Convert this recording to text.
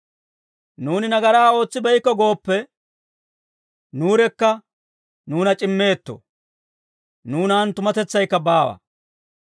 Nuuni nagaraa ootsibeykko gooppe, nuurekka nuuna c'immeetto; nuunan tumatetsaykka baawa.